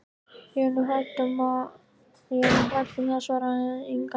Ég er nú hrædd um það, svaraði Inga.